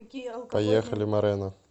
поехали морена